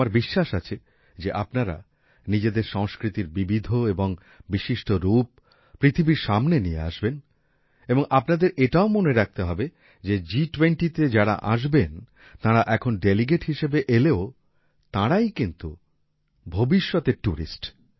আমার বিশ্বাস আছে যে আপনারা নিজেদের সংস্কৃতির বিবিধ এবং বিশিষ্ট রূপ পৃথিবীর সামনে নিয়ে আসবেন এবং আপনাদের এটাও মনে রাখতে হবে যে G20তে যারা আসবেন তারা এখন ডেলিগেট হিসেবে এলেও তারাই কিন্তু ভবিষ্যতের টুরিস্ট